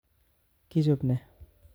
Kichope ne?